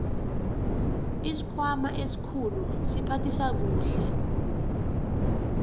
isikhwama esikhulu siphathisa kuhle